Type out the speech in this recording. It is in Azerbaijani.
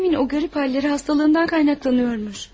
Abimin o qəribə halları xəstəliyindən qaynaqlanırmış.